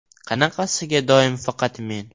“Qanaqasiga doim faqat men?